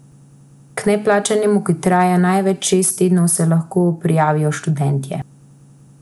K neplačanemu, ki traja največ šest tednov, se lahko prijavijo študentje.